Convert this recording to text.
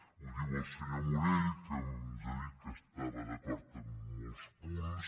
ho diu el senyor morell que ens ha dit que estava d’acord amb molts punts